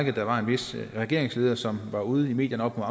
at der var en vis regeringsleder som var ude i medierne op